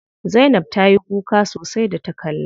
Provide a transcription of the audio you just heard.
Zainab ta yi kuka sosai da ta kalla.